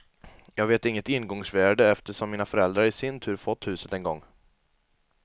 Jag vet inget ingångsvärde eftersom mina föräldrar i sin tur fått huset en gång.